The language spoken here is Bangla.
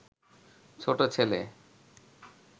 ছোট ছেলে